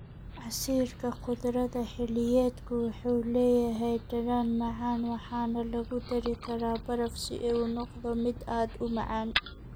Casiirka khudradda xilliyeedku wuxuu leeyahay dhadhan macaan waxaana lagu dari karaa baraf si uu u noqdo mid aad u macaan.